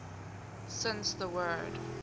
since the word